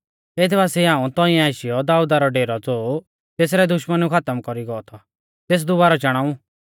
एथ बासिऐ हाऊं तौंइऐ आशीयौ दाऊदा रौ डेरौ ज़ो तेसरै दुष्मनुऐ खातम कौरी गौ थौ तेस दुबारौ चाणाऊ